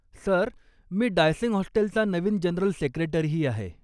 Sir, मी डायसंग हॉस्टेलचा नवीन जनरल सेक्रेटरीही आहे.